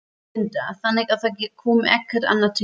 Linda: Þannig að það kom ekkert annað til greina?